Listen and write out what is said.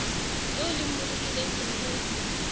eo le mmolokileng selemong se